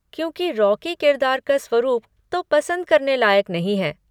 क्योंकि रॉकी किरदार का स्वरुप तो पसंद करने लायक नहीं है।